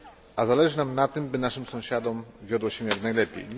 A zależy nam na tym, by naszym sąsiadom wiodło się jak najlepiej.